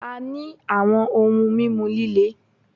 A ní àwọn ohun mímu líle